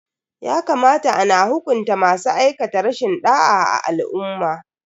Ya kamata ana hukunta masu aikata rashin da'a a al'umma.